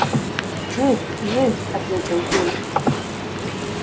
жив жив ответил кулик